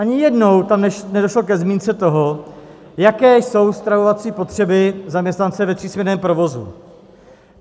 Ani jednou tam nedošlo ke zmínce toho, jaké jsou stravovací potřeby zaměstnance v třísměnném provozu.